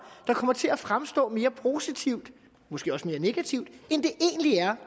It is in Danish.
der kommer til at fremstå mere positive og måske også mere negative end